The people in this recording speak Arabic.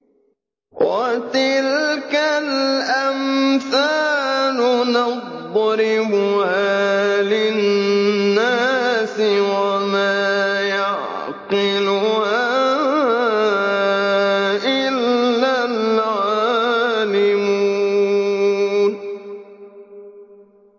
وَتِلْكَ الْأَمْثَالُ نَضْرِبُهَا لِلنَّاسِ ۖ وَمَا يَعْقِلُهَا إِلَّا الْعَالِمُونَ